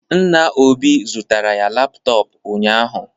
Nna Obi zụtara ya laptop ụnyahụ